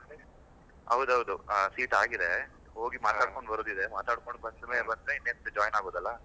ಹೌದೌದು ಆ seat ಆಗಿದೆ ಹೋಗಿ ಬರೋದಿದೆ ಮಾತಡ್ಕೊಂಡ್ ಬಂದ್ಮೇಲೆ ಇನೇನು join ಆಗೋದಲ್ಲ.